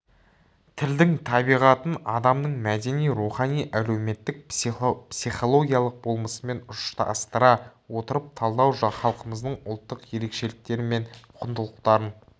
тілдің табиғатын адамның мәдени рухани әлеуметтік психологиялық болмысымен ұштастыра отырып талдау халқымыздың ұлттық ерекшеліктері мен құндылықтарын